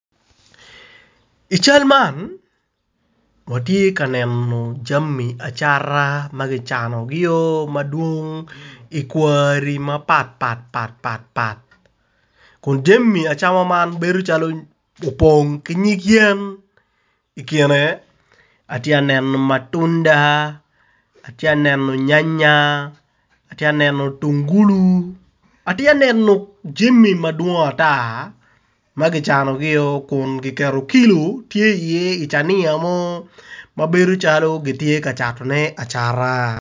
I cal man watye ka neno jami acata ma kicanogi madwong i kwari mapatpatpat kun jami acama man opong ki nyig yen. I kine atye ka neno matunda atye ka neno nynya atye ka neno mutungulu atye ka neno jami madwong ata kun kiketo kilo tye iye cania mo ma bedo calo kitye ka catone acata.